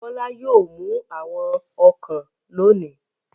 Bọ́lá yóò mú àwọn ọ̀kàn lónìí.